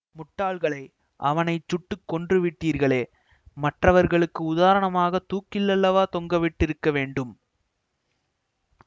முட்டாள்களே அவனை சுட்டு கொன்று விட்டீர்களே மற்றவர்களுக்கு உதாரணமாகத் தூக்கில் அல்லவா தொங்கவிட்டிருக்க வேண்டும்